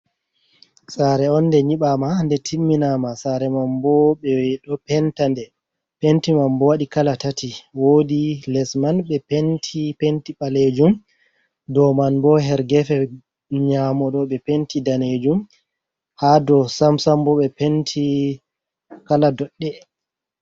Sare on nde nyiɓama nde timminama, sare man bo ɓeɗo penta nde penti man bo waɗi kala tati wodi les man be penti penti ɓalejum, dow man bo hergefe nyamoɗo be penti danejum, ha dow samsam bo ɓe penti kala doɗɗe.